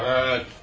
Həəət!